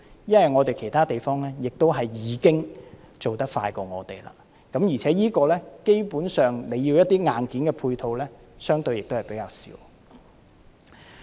因為其他地方已經做得比我們快，而且，基本上，這方面需要的硬件配套相對亦比較少。